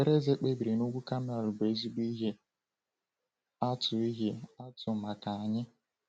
Ekpere Eze kpebiri n’ugwu Kamel bụ ezigbo ihe atụ ihe atụ maka anyị.